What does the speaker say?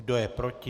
Kdo je proti?